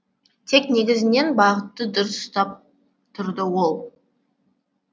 тек негізінен бағытты дұрыс ұстап тұрды ол